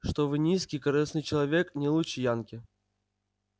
что вы низкий корыстный человек не лучше янки